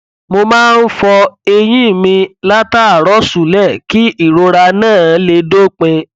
mo máa ń fọ eyín mi látàárọ ṣúlẹ kí ìrora náà lè dópin